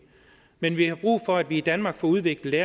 men vi har brug for at vi i danmark får udviklet